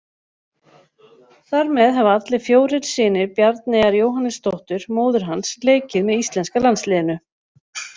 Þar með hafa allir fjórir synir Bjarneyjar Jóhannesdóttur, móður hans, leikið með íslenska landsliðinu.